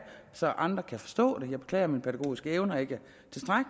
så andre kan forstå det jeg beklager at mine pædagogiske evner ikke